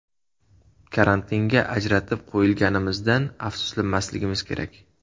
Karantinga ajratib qo‘yilganimizdan afsuslanmasligimiz kerak.